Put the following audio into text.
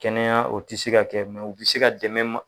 Kɛnɛya o tɛ se ka kɛ mɛ u bɛ se ka dɛmɛ ma